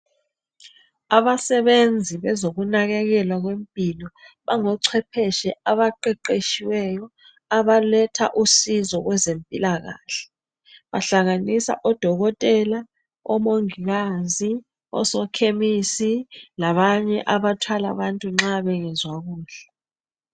Abasebenzi kwezokunakekela kwempilo bango chwephetshe abaqeqetshiweyo abaletha usizo kwezempilakahle. Bahlanganisa odokotela, omongikazi ,osokhemisi labanye abathwala bantu nxa bengezwa kuhle.